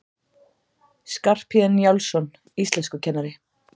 Skarphéðinn Njálsson, íslenskukennari!